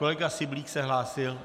Kolega Syblík se hlásil?